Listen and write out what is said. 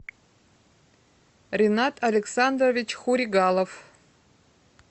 ринат александрович хуригалов